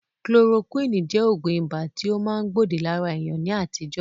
kolorokúwìnì jẹ́ Ògùn ibà tí ó ma gbòdì lára èèyàn ní àtijọ́